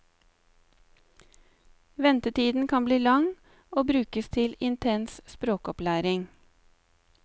Ventetiden kan bli lang, og brukes til intens språkopplæring.